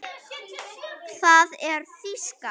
Það er bara þýska.